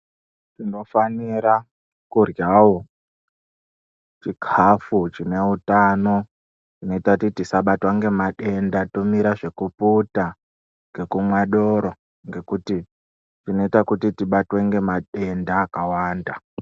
Tinofanira kuryawo chikafu chineutano, chinoite kuti tisabatwa ngemadenda. Tomira zvekuputa, ngekumwa doro ngekuti zvinoita kuti tibatwe nemadenda akawanda.